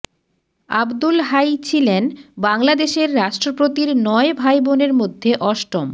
আবদুল হাই ছিলেন বাংলাদেশের রাষ্ট্রপতির নয় ভাইবোনের মধ্যে অষ্টম